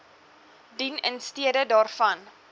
dien instede daarvan